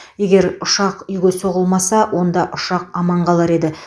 егер ұшақ үйге соғылмаса онда ұшақ аман қалар еді